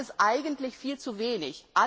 Das ist aber eigentlich viel zu wenig.